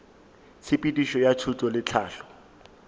tshepedišo ya thuto le tlhahlo